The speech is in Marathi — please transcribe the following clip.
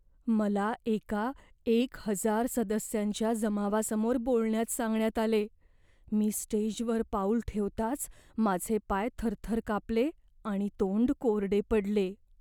मला एका एक हजार सदस्यांच्या जमावासमोर बोलण्यास सांगण्यात आले. मी स्टेजवर पाऊल ठेवताच माझे पाय थरथर कापले आणि तोंड कोरडे पडले.